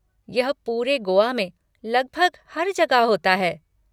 यह पूरे गोआ में लगभग हर जगह होता है।